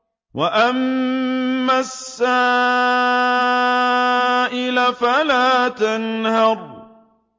وَأَمَّا السَّائِلَ فَلَا تَنْهَرْ